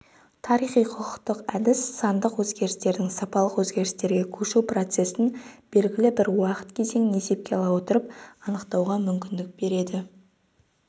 тарихи-құқықтық әдіс сандық өзгерістердің сапалық өзгерістерге көшу процессін белгілі бір уақыт кезеңін есепке ала отырып анықтауға мүмкіндік берді